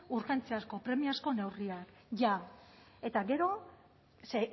urgentziazko premiazko neurriak jada eta gero ze